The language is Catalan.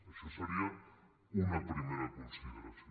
això seria una primera consideració